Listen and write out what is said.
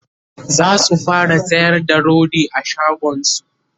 zasu fara sayar da rodi a shagonsu